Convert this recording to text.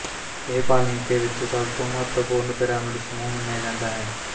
ਇਹ ਪਾਲੇਂਕੇ ਵਿੱਚ ਸਭ ਤੋਂ ਮਹੱਤਵਪੂਰਨ ਪਿਰਾਮਿਡ ਸਮੂਹ ਮੰਨਿਆ ਜਾਂਦਾ ਹੈ